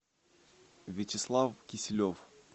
вячеслав киселев